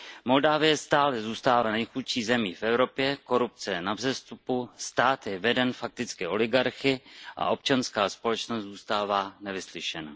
Moldavsko stále zůstává nejchudší zemí v Evropě, korupce je na vzestupu, stát je veden fakticky oligarchy a občanská společnost zůstává nevyslyšena.